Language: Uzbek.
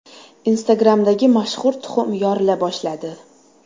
Instagram’dagi mashhur tuxum yorila boshladi.